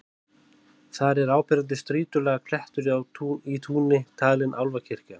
Þar er áberandi strýtulaga klettur í túni, talinn álfakirkja.